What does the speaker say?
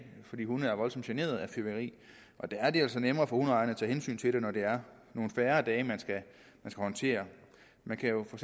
fordi hunde er voldsomt generet af fyrværkeri og der er det altså nemmere for hundeejerne at tage hensyn til det når det er nogle færre dage man skal håndtere man kan jo for